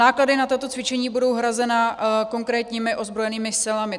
Náklady na toto cvičení budou hrazeny konkrétními ozbrojenými silami.